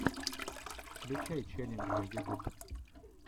включай челленджи ютуб